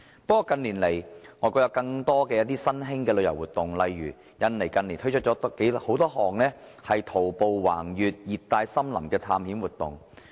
不過，近年來，外國有更多新興旅遊活動，例如印尼近年推出多項徒步橫越熱帶森林的探險活動。